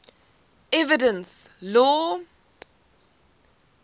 evidence law